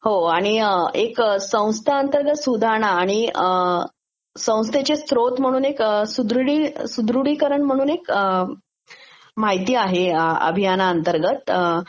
हो आणि संस्था अंतर्गत सुधारणा आणि संस्थेचे स्त्रेत म्हणून एक सुढृडीकरण म्हणून माहिती आहे अभियानाअंतर्गत